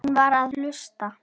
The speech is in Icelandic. Hún var að hlusta.